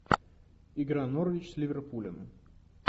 игра норвич с ливерпулем